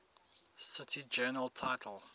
cite journal title